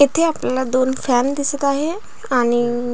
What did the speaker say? येथे आपल्याला दोन फॅन दिसत आहे आणि--